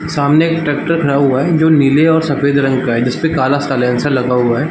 सामने एक ट्रेक्टर खड़ा हुआ है जो नीले और सफ़ेद रंग है जिसपे काला साइलेंसर लगा हुआ है ।